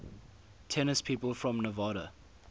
tennis people from nevada